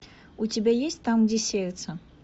у тебя есть там где сердце